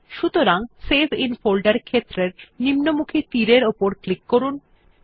সুতরাং save in folder ক্ষেত্রের নিম্নমুখী তীর এর উপর ক্লিক করুন